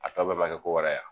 A tɔ bɛɛ ma kɛ ko wɛrɛ ya?